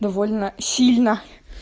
довольно сильно